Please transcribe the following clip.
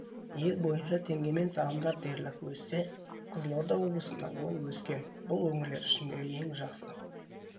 ел бойынша теңгемен салымдар дерлік өссе қызылорда облысында ол өскен бұл өңірлер ішіндегі ең жақсы